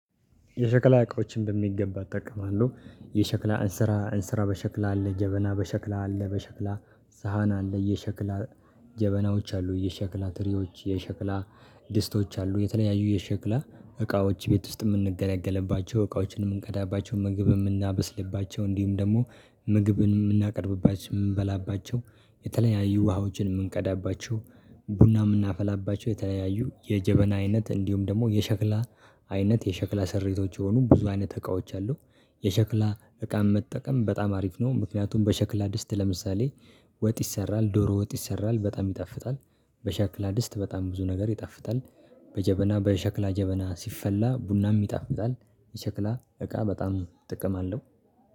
የሸክላ እቃዎችን በሚገባ እጠቀማለሁ። የሸክላ እንስራ እንስራ በሸክላ አለ ጀበና በሸክላ አለ በሸክላ ሳህን አለ የሸክላ ጀበናዎች አሉ። የሸክላ ትሪዎች የሸክላ ድስቶች አሉ። የተለያዩ የሸክላ እቃዎች ቤት ውስጥ የምንገለገልባቸው እቃዎችን የምንቀዳባቸው ምግብ የምናበስልባቸው እንዲሁም ደግሞ ምግብን የምናቀርብባቸው የምንበላባቸው። የተለያዩ ውሃዎችን የምንቀዳባቸው ቡና የምናፈላባቸው የተለያየ የጀበና አይነት እንዲሁም ደግሞ የሸክላ አይነት የሸክላ ስሪቶች የሆኑ ብዙ አይነት እቃዎች አሉ። የሸክላ እቃም መጠቀም በጣም አሪፍ ነው። ምክንያቱም በሸክላ ድስት ለምሳሌ ወጥ ይሰራል ዶሮ ወጥ ይሰራል በጣም ይጣፍጣል። በሸክላ ድስት በጣም ብዙ ነገር ይጣፍጣል። በጀበና በሸክላ ጀበና ሲፈላ ቡናም ይጣፍል። የሸክላ እቃ በጣም ጥቅም አለው